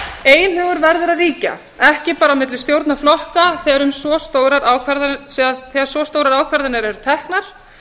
einhugur verður að ríkja ekki bara á milli stjórnarflokka þegar svo stórar ákvarðanir eru teknar